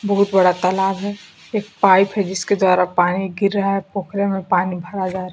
बहुत बड़ा तालाब है एक पाइप है जिसके द्वारा पानी गिर रहा है पोखरे पानी भर जा --